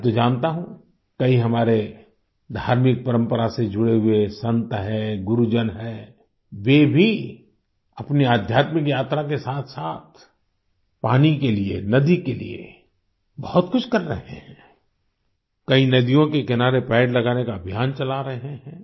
मैं तो जानता हूँ कई हमारे धार्मिक परम्परा से जुड़े हुए संत हैं गुरुजन हैं वे भी अपनी अध्यात्मिक यात्रा के साथसाथ पानी के लिए नदी के लिए बहुत कुछ कर रहे हैं कई नदियों के किनारे पेड़ लगाने का अभियान चला रहे हैं